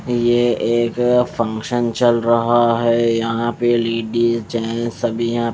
ये एक फंक्शन चल रहा है यहां पे लेडिस जेंट्स सभी यहां--